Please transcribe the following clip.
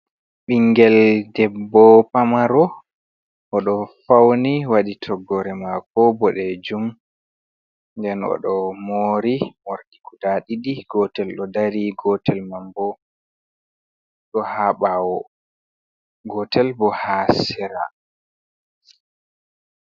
Ɓingel debbo pamaro, o ɗo fauni waɗi toggore mako boɗejum, nden oɗo mori morɗi guda ɗiɗi, gotel ɗo dari, gotel man bo ɗo ha bawo gotel bo ha sera.